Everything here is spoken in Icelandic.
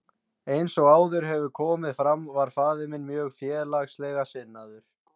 Eins og áður hefur komið fram var faðir minn mjög félagslega sinnaður.